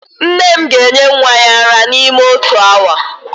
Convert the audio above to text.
Nne m ga-enye nwa ya ara n'ime otu awa